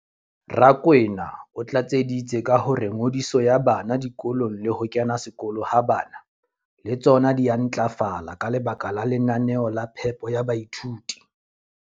Rakwena o tlatseditse ka hore ngodiso ya bana dikolong le ho kena sekolo ha bana le tsona di a ntlafala ka lebaka la lenaneo la phepo ya baithuti.